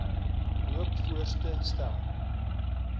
loop voorts stel